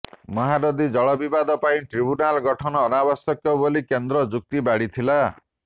ମହାନଦୀ ଜଳବିବାଦ ପାଇଁ ଟ୍ରିବ୍ୟୁନାଲ ଗଠନ ଅନାବଶ୍ୟକ ବୋଲି କେନ୍ଦ୍ର ଯୁକ୍ତି ବାଢି ଥିଲା